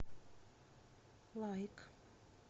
лайк